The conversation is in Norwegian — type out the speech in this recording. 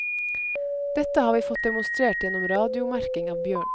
Dette har vi fått demonstrert gjennom radiomerking av bjørn.